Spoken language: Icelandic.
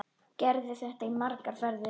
Gerði í þetta margar ferðir.